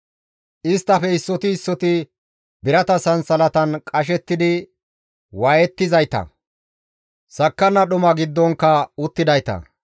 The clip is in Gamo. Isttafe issoti issoti birata sansalatan qashettidi waayettizayta; sakkanna dhuma giddonkka uttidayta;